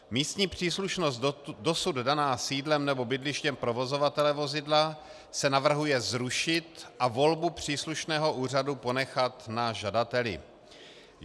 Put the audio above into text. Místní příslušnost dosud daná sídlem nebo bydlištěm provozovatele vozidla se navrhuje zrušit a volbu příslušného úřadu ponechat na žadateli.